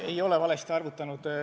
Ei ole valesti arvutanud.